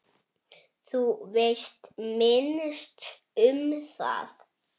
Þú veist minnst um það.